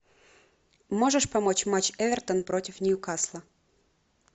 можешь помочь матч эвертон против ньюкасла